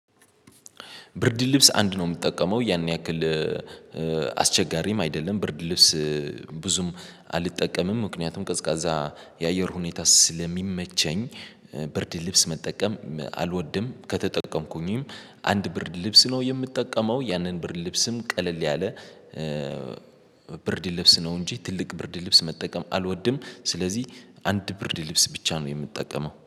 ብርድ ልብስ አንድ ነው የምትጠቀመው ያን ያክል። አስቸጋሪም አይደለም ብርድ ልብስ ብዙም አልጠቀምም ምክንያቱም ቀዝቃዛ የአየር ሁኔታ ስለሚመቸኝ። ብርድ ልብስ መጠቀም አልወድም። ከተጠቀምኩኝም አንድ ብርድ ልብስ ነው የምጠቀመው ያንን ብርድ ልብስም ቀለል ያለ። ብርድ ልብስ ነው እንጂ ትልቅ ብርድ ልብስ መጠቀም አልወድም። ስለዚህ አንድ ብርድ ልብስ ብቻ ነው የምትጠቀመው